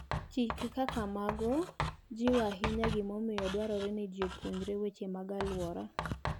Chike kaka mago jiwo ahinya gimomiyo dwarore ni ji opuonjre weche mag alwora.